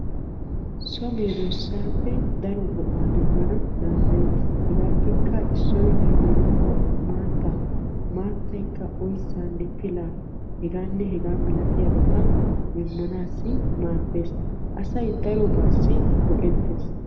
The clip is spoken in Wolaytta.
So meedosappe keehippe daro go'aa demmanna danddayetees. Hegaappe issoy maataa, maatappe pilanne oyssa ekkiddi maadetees.